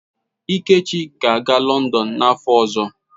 Ikechi ga-aga Lọndon n'afọ ọzọ.